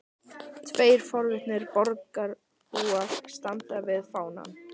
Tveir forvitnir borgarbúar standa við fánann.